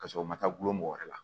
Ka sɔrɔ u ma taa gulɔ mɔgɔ wɛrɛ la